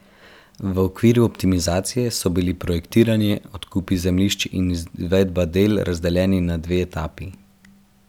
V okviru optimizacije so bili projektiranje, odkupi zemljišč in izvedba del razdeljeni na dve etapi.